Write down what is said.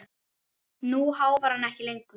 Nú háfar hann ekki lengur.